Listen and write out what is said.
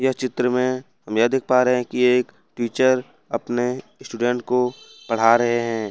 इस चित्र में हम यह देख पा रहे हैं कि टीचर अपने स्टूडेंट को पढ़ा रहे हैं।